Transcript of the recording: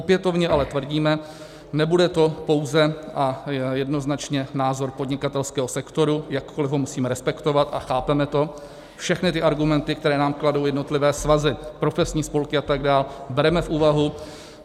Opětovně ale tvrdíme, nebude to pouze a jednoznačně názor podnikatelského sektoru, jakkoli ho musíme respektovat a chápeme to, všechny ty argumenty, které nám kladou jednotlivé svazy, profesní spolky atd., bereme v úvahu.